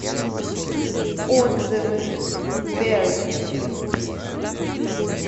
отзывы берг